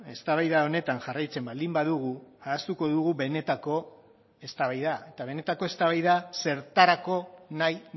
eztabaida honetan jarraitzen baldin badugu ahaztuko dugu benetako eztabaida eta benetako eztabaida zertarako nahi